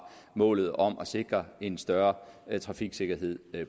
målet om at sikre en større trafiksikkerhed